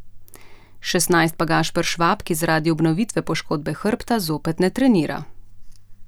Šestnajst pa Gašper Švab, ki zaradi obnovitve poškodbe hrbta zopet ne trenira.